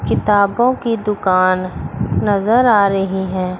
किताबों की दुकान नजर आ रही हैं।